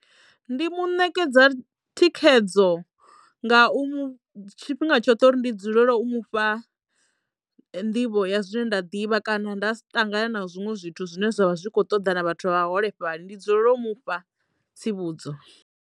Ndi muṋekedza thikhedzo nga u mu tshifhinga tshoṱhe uri ndi dzulele u mufha nḓivho ya zwine nda ḓivha kana nda si ṱangane na zwiṅwe zwithu zwine zwavha zwi kho ṱoḓa na vhathu vha vha holefhali ndi dzulela u mufha tsivhudzo.